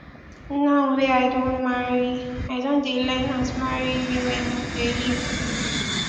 now wey i don marry i don dey learn as married women dey live